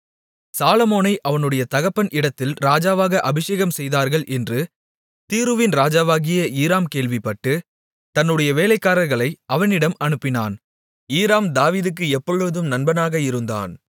சாலொமோனை அவனுடைய தகப்பன் இடத்தில் ராஜாவாக அபிஷேகம்செய்தார்கள் என்று தீருவின் ராஜாவாகிய ஈராம் கேள்விப்பட்டு தன்னுடைய வேலைக்காரர்களை அவனிடம் அனுப்பினான் ஈராம் தாவீதுக்கு எப்பொழுதும் நண்பனாக இருந்தான்